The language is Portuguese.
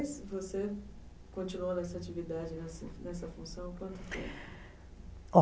Depois, você continuou nessa atividade, nessa nessa função?